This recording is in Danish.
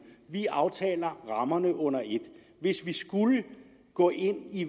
vi aftaler rammerne under et hvis vi skulle gå ind i